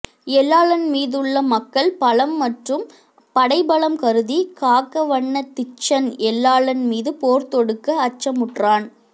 எல்லாளன் மீதுள்ள மக்கள் பலம் மற்றும் படை பலம் கருதி காகவன்ன திச்சன் எல்லாளன் மீது போர் தொடுக்க அச்சமுற்றான்